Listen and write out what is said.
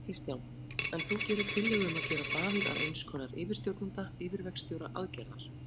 Kristján: En þú gerir tillögu um að gera Davíð að eins konar yfirstjórnanda, yfirverkstjóra aðgerðar?